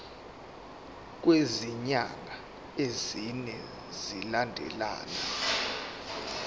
kwezinyanga ezine zilandelana